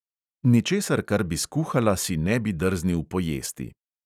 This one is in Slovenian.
Ničesar, kar bi skuhala, si ne bi drznil pojesti.